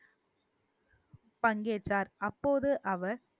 பங்கேற்றார் அப்போது அவர்